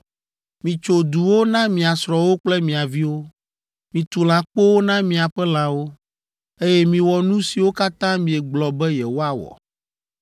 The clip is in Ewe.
Mitso duwo na mia srɔ̃wo kple mia viwo, mitu lãkpowo na miaƒe lãwo, eye miwɔ nu siwo katã miegblɔ be yewoawɔ.”